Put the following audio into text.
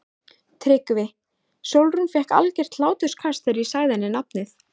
TRYGGVI: Sólrún fékk algert hláturskast þegar ég sagði henni nafnið.